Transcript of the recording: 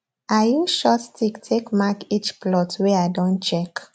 i use short stick take mark each plot wey i don check